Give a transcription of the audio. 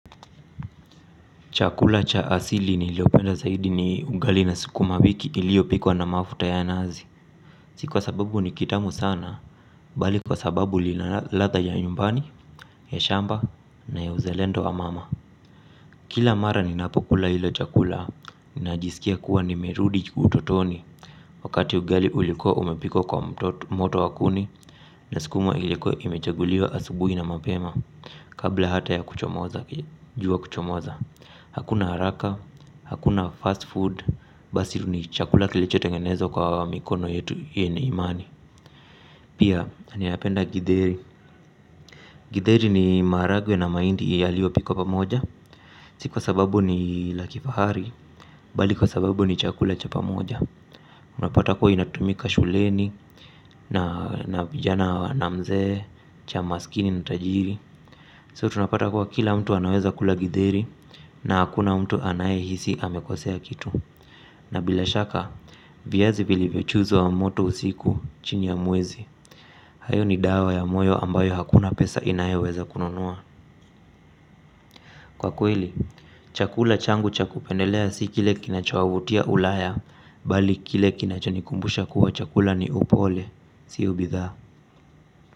Chakula cha asili niliopenda zaidi ni ugali na sukumawiki iliyopikwa na mafuta ya nazi. Si kwa sababu ni kitamu sana, bali kwa sababu lina radha ya nyumbani, ya shamba na ya uzalendo wa mama. Kila mara ninapokula ilo chakula, ninajisikia kuwa nimerudi utotoni. Wakati ugali ulikuwa umepikwa kwa moto wa kuni, na sukuma ilikuwa imechaguliwa asubuhi na mapema. Kabla hata ya kuchomoza, jua kuchomoza. Hakuna haraka, hakuna fast food, basi ni chakula kilicho tengenezwa kwa mikono yetu yenye imani. Pia, ninapenda githeri. Githeri ni maharagwe na mahindi yaliyopikwa pamoja. Si kwa sababu ni la kifahari, bali kwa sababu ni chakula cha pamoja. Unapata kuwa inatumika shuleni, na vijana na mzee, cha maskini na tajiri So tunapata kuwa kila mtu anaweza kula githeri, na hakuna mtu anayehisi amekosea kitu. Na bila shaka, viazi vilivyochuzo wa moto usiku chini ya mwezi. Hayo ni dawa ya moyo ambayo hakuna pesa inayoweza kununua. Kwa kweli, chakula changu chakupendelea si kile kinachowavutia ulaya, bali kile kinachonikumbusha kuwa chakula ni upole, siyo bidhaa.